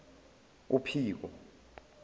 uphiko